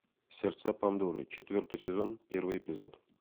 сердца пандоры четвертый сезон первый эпизод